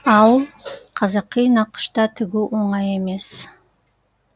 ал қазақи нақышта тігу оңай емес